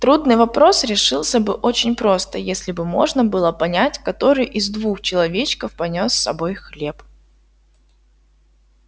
трудный вопрос решился бы очень просто если бы можно было понять который из двух человечков понёс с собой хлеб